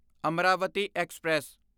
Amaravati express